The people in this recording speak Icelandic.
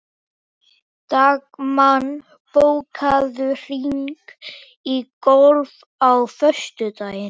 Dagmann, bókaðu hring í golf á föstudaginn.